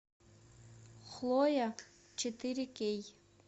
хлоя четыре кей